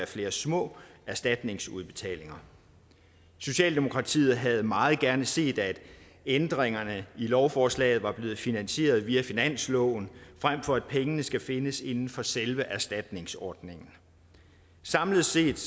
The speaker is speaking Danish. flere små erstatningsudbetalinger socialdemokratiet havde meget gerne set at ændringerne af lovforslaget var blevet finansieret via finansloven frem for at pengene skal findes inden for selve erstatningsordningen samlet set